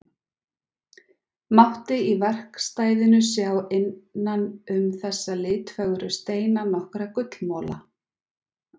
Mátti í verkstæðinu sjá innan um þessa litfögru steina nokkra gullmola.